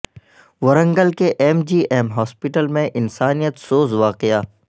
ورنگل کے M G M hospital میں انسانیت سوز واقعہ